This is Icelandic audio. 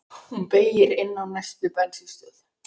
Hún beygir inn á næstu bensínstöð.